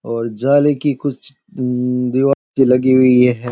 और जेल कि कुछ उ दीवार सी लगी हुई है।